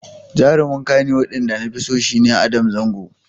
Jarumin Kannywood ɗin da nafi so shi ne Adam Zango.